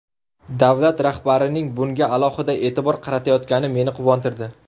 Davlat rahbarining bunga alohida e’tibor qaratayotgani meni quvontirdi.